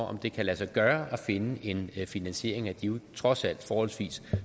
om det kan lade sig gøre at finde en finansiering af de trods alt forholdsvis